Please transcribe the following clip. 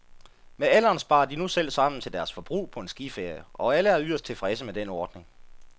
Med alderen sparer de nu selv sammen til deres forbrug på en skiferie, og alle er yderst tilfredse med den ordning.